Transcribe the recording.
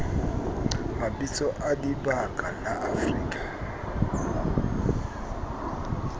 mabitso a dibaka la afrika